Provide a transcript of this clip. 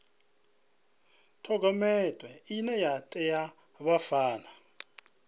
dokhumenthe ine ya ṋea vhabvann